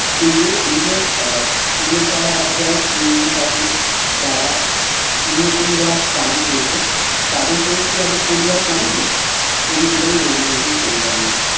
কিন্তু এই আহ স্পেনের যারা আছে শ্রমিক আছে যারা স্পেনের জন্য যারা প্রাণ দিয়েছে জন্য কি তাদের পরিবার একবার কাদেনী কবি এইটাই বলতে চেয়েছেন কবিতার মধ্যে